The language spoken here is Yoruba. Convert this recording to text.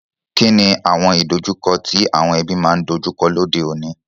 Kíni àwon ìdojúko ti àwon ebí ma n dojúko lóde ọ̀ní?